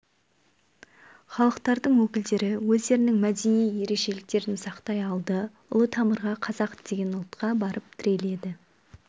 халықтардың өкілдері өздерінің мәдени ерекшеліктерін сақтай алды ұлы тамырға қазақ деген ұлтқа барып тіреледі